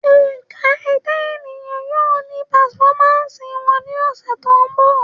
Ẹ̀ka Ẹ̀dá ènìyàn yóò ní pàfọ́másì wọn ní ọ̀sẹ̀ tó ńbọ̀